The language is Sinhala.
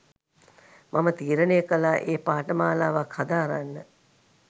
මම තීරණය කළා ඒ පාඨමාලවක් හදාරන්න.